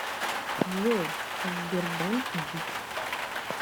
джой сбербанк дичь